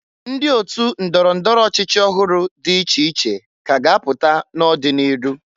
Ndị otu ndọrọ ndọrọ ọchịchị ọhụrụ dị iche iche k' a ga-apụta n'ọ dị n'iru.